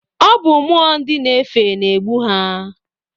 Ọ bụ mmụọ nd na-efe na-egbu ha.